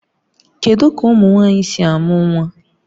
Kedu ka ụmụ nwanyị si a mụ nwa?